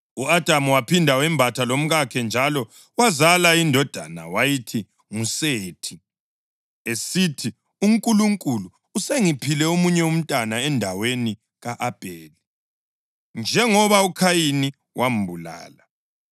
U-Adamu waphinda wembatha lomkakhe njalo, wazala indodana wayithi nguSethi, esithi, “UNkulunkulu usengiphile omunye umntwana endaweni ka-Abheli, njengoba uKhayini wambulala.”